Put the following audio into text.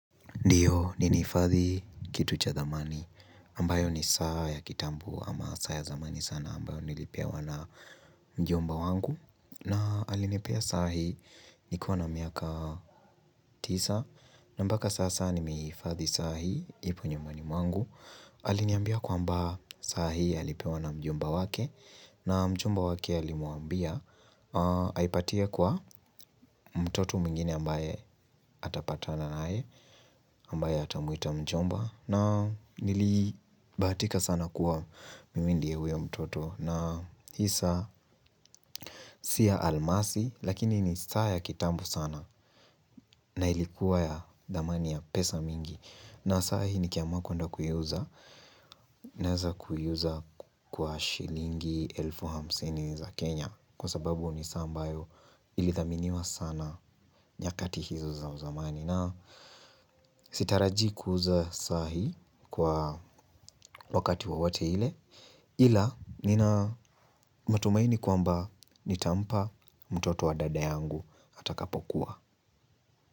Ndiyo nilihifadhi kitu cha thamani ambayo ni saa ya kitambo ama saa ya zamani sana ambayo nilipewa na mjomba wangu. Na alinepea saa hii nikiwa na miaka tisa na mpaka sasa nimeihifadhi saa hii ipo nyumbani mwangu. Aliniambia kwamba saa hii alipewa na mjomba wake na mjomba wake alimuambia aipatie kwa mtoto mwingine ambaye atapatana naye ambaye atamuita mjomba. Na nilibahatika sana kuwa mimi ndiye huyo mtoto. Na hii saa si ya almasi. Lakini ni saa ya kitambo sana. Na ilikuwa ya dhamani ya pesa mingi. Na saa hii nikiamua kwenda kuiuza naweza kuiuza kwa shilingi elfu hamsini za Kenya. Kwa sababu ni saa ambayo ilithaminiwa sana nyakati hizo za uzamani na sitarajii kuuza saa hii kwa wakati wowote ile ila nina matumaini kwamba nitampa mtoto wa dada yangu atakapokua.